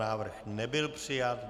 Návrh nebyl přijat.